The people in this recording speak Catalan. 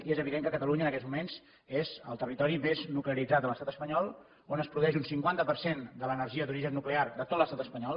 i és evident que catalunya en aquests moments és el territori més nuclearitzat de l’estat espanyol on es produeix un cinquanta per cent de l’energia d’origen nuclear de tot l’estat espanyol